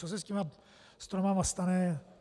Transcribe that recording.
Co se s těmi stromy stane?